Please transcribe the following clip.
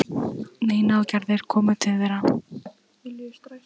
Nína og Gerður komu til þeirra.